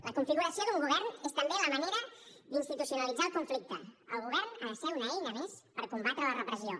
la configuració d’un govern és també la manera d’institucionalitzar el conflicte el govern ha de ser una eina més per combatre la repressió